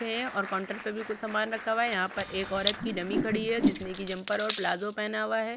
रखे है और कोनट्रक्टर भी कुछ समान रखा हुआ है यहाँ पर एक औरत की डमी खड़ी हुई है जिसने की जंपर ओर पिलजो पहना हुआ है।